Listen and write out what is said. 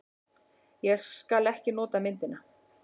Ég skal ekki nota myndina.